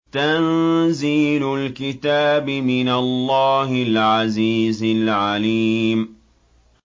تَنزِيلُ الْكِتَابِ مِنَ اللَّهِ الْعَزِيزِ الْعَلِيمِ